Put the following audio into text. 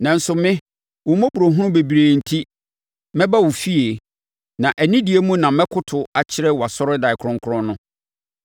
Nanso me, wo mmɔborɔhunu bebrebe enti, mɛba wo fie; na anidie mu na mɛkoto akyerɛ wʼasɔredan kronkron no.